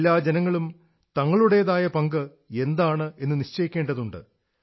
എല്ലാ ജനങ്ങളും തങ്ങളുടേതായ പങ്ക് എന്താണെന്നു നിശ്ചയിക്കേണ്ടതുണ്ട്